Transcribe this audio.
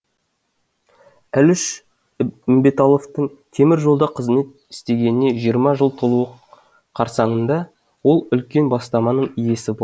әліш үмбеталовтың темір жолда кызмет істегеніне жиырма жыл толуы қарсаңында ол үлкен бастаманың иесі болды